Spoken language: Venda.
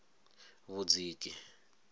vhudziki